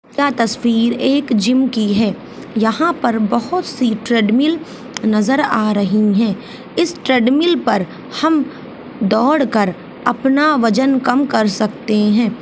यह एक तस्वीर जिम की है यहाँ पर बहुत सी ट्रेडमिल नजर आ रही है इस ट्रेडमिल पर हम दौड़ कर अपना वजन कम कर सकते है।